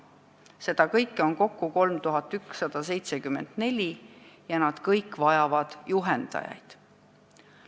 See teeb kokku 3174 kollektiivi ja nad kõik vajavad juhendajaid.